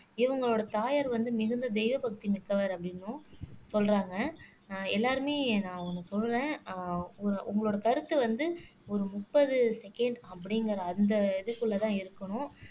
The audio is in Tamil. இவங்களோட தாயார் வந்து மிகுந்த தெய்வ பக்தி மிக்கவர் அப்படின்னும் சொல்றாங்க அஹ் எல்லாருமே நான் ஒண்ணு சொல்லுவேன் அஹ் உங் உங்களோட கருத்து வந்து ஒரு முப்பது செகண்ட் அப்படிங்கற அந்த இதுக்குள்ளேதான் இருக்கணும்